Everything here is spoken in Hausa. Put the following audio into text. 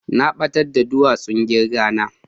Na batar da duwasun kirga na.